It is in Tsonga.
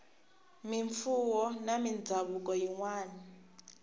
mimfuwo na mindhavuko yin wana